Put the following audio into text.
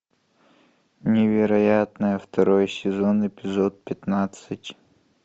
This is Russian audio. невероятное второй сезон эпизод пятнадцать